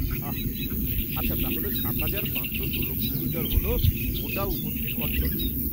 আঃ, আচ্ছা, তাহলে সাত হাজার পাঁচশো ষোলো কিলোমিটার হল গোটা উপদ্বীপ অঞ্চলটা।